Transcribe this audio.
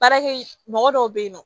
Baarakɛ mɔgɔ dɔw bɛ yen nɔ